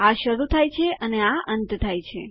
આ શરૂ થાય છે અને આ અંત થાય છે